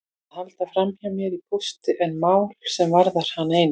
Að halda framhjá mér í pósti er mál sem varðar hana eina.